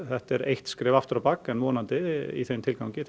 þetta er eitt skref aftur á bak en vonandi í þeim tilgangi